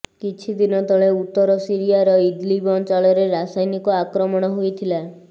କିଛିଦିନ ତଳେ ଉତ୍ତର ସିରିଆର ଇଦ୍ଲିବ୍ ଅଞ୍ଚଳରେ ରାସାୟନିକ ଆକ୍ରମଣ ହୋଇଥିଲା